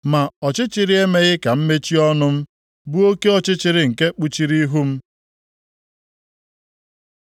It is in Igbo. Ma ọchịchịrị emeghị ka m mechie ọnụ m, bụ oke ọchịchịrị nke kpuchiri ihu m.